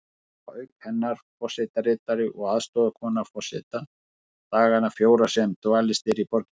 Þar búa auk hennar forsetaritari og aðstoðarkona forseta dagana fjóra sem dvalist er í borginni.